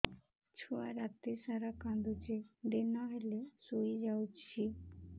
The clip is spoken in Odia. ଛୁଆ ରାତି ସାରା କାନ୍ଦୁଚି ଦିନ ହେଲେ ଶୁଇଯାଉଛି